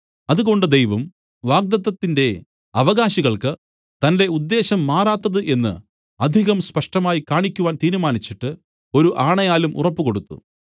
അതുകൊണ്ട് ദൈവം വാഗ്ദത്തത്തിന്റെ അവകാശികൾക്ക് തന്റെ ഉദ്ദേശം മാറാത്തത് എന്ന് അധികം സ്പഷ്ടമായി കാണിക്കുവാൻ തീരുമാനിച്ചിട്ട് ഒരു ആണയാലും ഉറപ്പുകൊടുത്തു